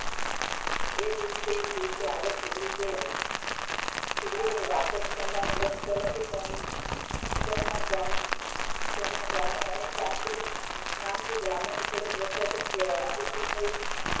એ દિવસે ને દિવસે હાલત સુધરી ગઈ વ્રત કરવા થી સોમનાથ બ્રાહ્મણ અને સાન્ટા નામ થી સુખી થઇ